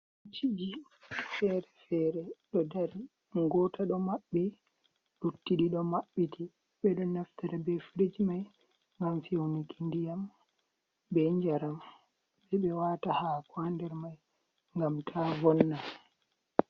Firicji fere-fere ɗo dari ,goota ɗo maɓɓi, luttiɗi ɗo maɓɓiti . Ɓe ɗo naftira be firij may ngam fewniki ndiyam be njaram .Ɓe ɗo waata haako haa nder may ngam ta vonna.